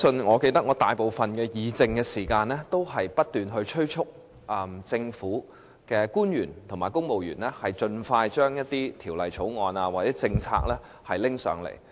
我記得花了大部分議政時間，不斷催促政府官員和公務員盡快把一些條例草案或政策提交立法會。